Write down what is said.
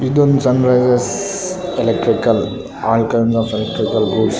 ಇದೊಂದ್ Sunrises electrical all kind of electrical goods .